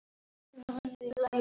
Þannig mætti lengi halda áfram.